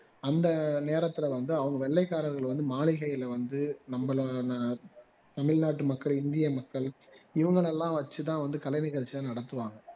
அந்த நேரத்துல வந்து அவங்க வெள்ளைக்காரர்கள் வந்து மாளிகைல வந்து நம்மள தமிழ்நாட்டு மக்கள் இந்திய மக்கள் இவங்களை எல்லாம் வச்சிதான் இந்த கலை நிகழ்ச்சி எல்லாம் நடத்துவாங்க